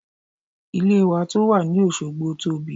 Ilé wa tó wà ní Òsogbo tóbi.